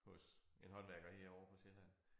Hos en håndværker herovre på Sjælland